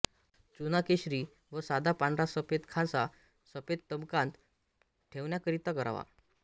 चुना केशरी व साधा पांढरा सफेत खांसा सभेंत तबकांत ठेवण्याकरिता करावा